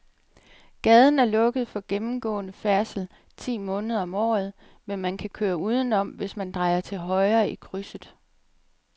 Gaden er lukket for gennemgående færdsel ti måneder om året, men man kan køre udenom, hvis man drejer til højre i krydset.